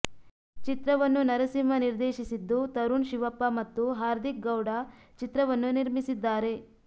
ಚಿತ್ರವನ್ನು ನರಸಿಂಹ ನಿರ್ದೇಶಿಸಿದ್ದು ತರುಣ್ ಶಿವಪ್ಪ ಮತ್ತು ಹಾರ್ದಿಕ್ ಗೌಡ ಚಿತ್ರವನ್ನು ನಿರ್ಮಿಸಿದ್ದಾರೆ